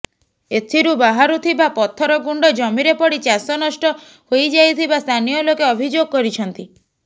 ଏଥିରୁ ବାହାରୁଥିବା ପଥର ଗୁଣ୍ଡ ଜମିରେ ପଡି ଚାଷ ନଷ୍ଟ ହୋଇଯାଇଥିବା ସ୍ଥାନୀୟଲୋକେ ଅଭିଯୋଗ କରିଛନ୍ତି